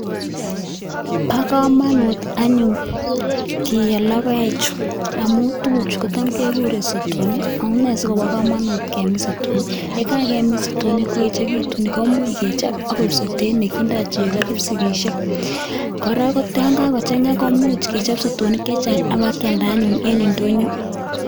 Bo komonut anyun kiyo logoek chu amun tuguchu kotam kekuren sotonik, bo kamanut kemin sotonik amun yekakoechekitun koiku sotet neindo cheo kipsigisiek, kora yon kakochang'a komuch kechop sotonik chechang' abakyalda anyun en ndonyo.